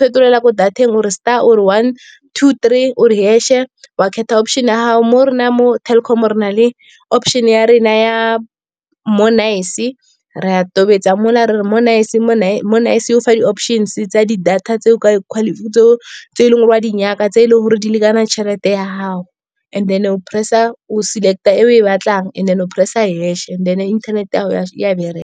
fetolela ko data-eng, o re star, o re one, two three, o re hash-e. O a kgetha option-e ya gago, mo re na mo Telkom re na le option ya rena ya, Mo'Nice. Ra tobetsa mo la re re Mo'Nice, Mo'Nice e go fa di-options tsa di-data tse e leng gore wa di nyaka, tse e leng gore di lekana tšhelete ya gago. And then o select-a e o e batlang and then o press-a hash-e then internet-e ya gago e a bereka.